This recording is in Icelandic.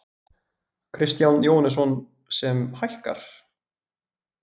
Kristján Jóhannesson: Sem hækkar?